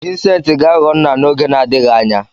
Vincent ga-aghọ nna n'oge na-adịghị anya.